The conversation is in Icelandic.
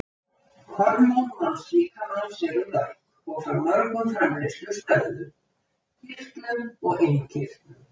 Hormón mannslíkamans eru mörg og frá mörgum framleiðslustöðvum, kirtlum og innkirtlum.